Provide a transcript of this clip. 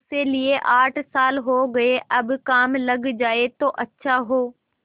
उसे लिये आठ साल हो गये अब काम लग जाए तो अच्छा हो